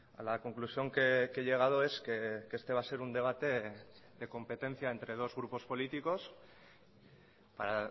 a la conclusión que he llegado es que este va a ser un debate de competencia entre dos grupos políticos para